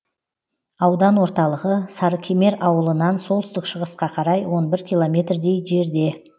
аудан орталығы сарыкемер ауылынан солтүстік шығысқа қарай он бір километрдей жерде